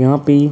यहाँ पे --